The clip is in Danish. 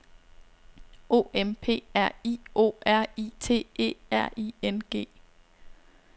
O M P R I O R I T E R I N G